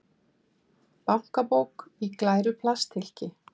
Bankabók í glæru plasthylki.